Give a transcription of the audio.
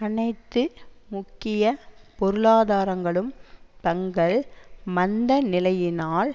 அனைத்து முக்கிய பொருளாதாரங்களும் தங்கள் மந்த நிலையினால்